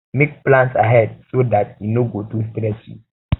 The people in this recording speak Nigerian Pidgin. make plans ahead make plans ahead so dat um e no go too stress you